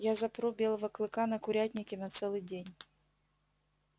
я запру белого клыка на курятнике на целый день